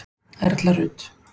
Erla Rut.